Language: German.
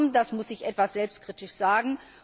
Das muss ich etwas selbstkritisch sagen.